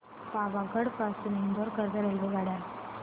पावागढ पासून इंदोर करीता रेल्वेगाड्या